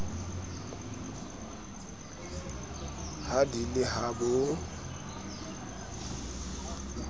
ha di le ha bo